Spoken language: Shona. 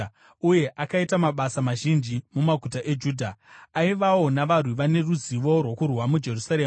uye akaita mabasa mazhinji mumaguta eJudha. Aivawo navarwi vane ruzivo rwokurwa muJerusarema.